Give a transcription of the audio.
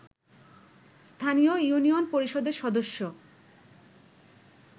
স্থানীয় ইউনিয়ন পরিষদের সদস্য